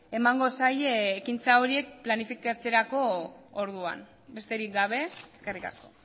emango zaie ekintza horiek planifikatzerako orduan besterik gabe eskerrik asko